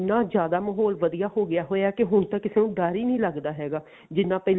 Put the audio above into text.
ਇੰਨਾ ਜਿਆਦਾ ਮਹੋਲ ਵਧੀਆ ਹੋਗਿਆ ਹੋਇਆ ਕਿ ਹੁਣ ਤਾਂ ਕਿਸੇ ਨੂੰ ਡਰ ਹੀ ਨੀ ਲੱਗਦਾ ਹੈਗਾ ਜਿੰਨਾ ਪਹਿਲਾਂ